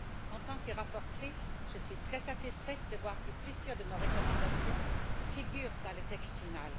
En tant que rapporteure, je suis très satisfaite de voir que plusieurs de nos recommandations figurent dans le texte final.